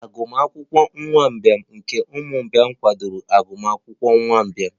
Agụmakwụkwọ nwa mgbei nke ụmụ mgbei kwadoro agụmakwụkwọ ụmụ mgbei?